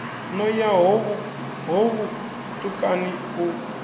no ya ho vhutukani u